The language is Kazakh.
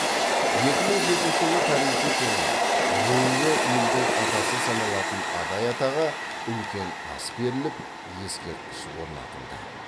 екі мың жетінші жылы тарихи тұлға рулы елдің атасы саналатын адай атаға үлкен ас беріліп ескерткіш орнатылды